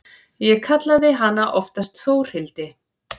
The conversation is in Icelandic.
Ég kallaði hana oftast Þórhildi.